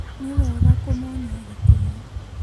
Nĩ wega kũmonia gĩtĩo